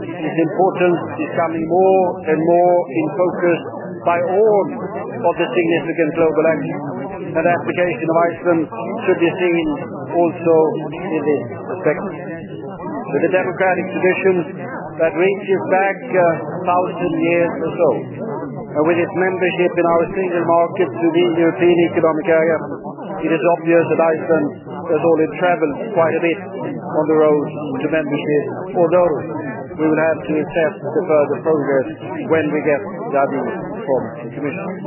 Its importance is coming more and more into the focus of all the significant global actors and the application of Iceland should also be seen from that perspective. With a democratic tradition that reaches back a thousand years or so, and with its membership in our single market through the European Economic Area, it is obvious that Iceland has already travelled quite a bit on the road to membership, although we will have to assess the further progress when we get the avis from the Commission.